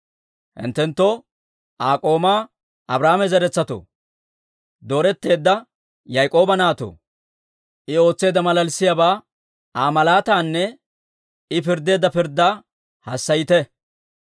Hinttenttoo, Aa k'oomaa Abrahaama zeretsatoo, Dooretteedda Yaak'ooba naatoo, I ootseedda maalaalissiyaabaa, Aa malaatanne I pirddeedda pirddaa hassayite.